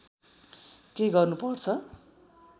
के गर्नु पर्छ